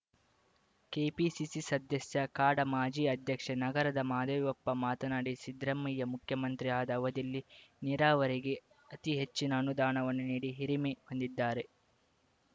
KPCC ಸದಸ್ಯ ಕಾಡಾ ಮಾಜಿ ಅಧ್ಯಕ್ಷ ನಗರದ ಮಹಾದೇವಪ್ಪ ಮಾತನಾಡಿ ಸಿದ್ದರಾಮಯ್ಯ ಮುಖ್ಯಮಂತ್ರಿಯಾದ ಅವಧಿಯಲ್ಲಿ ನೀರಾವರಿಗೆ ಅತೀ ಹೆಚ್ಚಿನ ಅನುದಾನವನ್ನು ನೀಡಿ ಹಿರಿಮೆ ಹೊಂದಿದ್ದಾರೆ